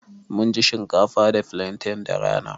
Mun ci shinkafa da flantain da rana.